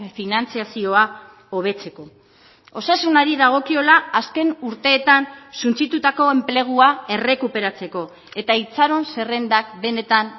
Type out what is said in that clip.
finantzazioa hobetzeko osasunari dagokiola azken urteetan suntsitutako enplegua errekuperatzeko eta itxaron zerrendak benetan